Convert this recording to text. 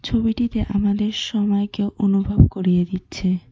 ছবিটিতে আমাদের সময়কে অনুভব করিয়ে দিচ্ছে।